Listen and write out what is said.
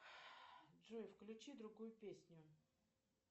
джой включи другую песню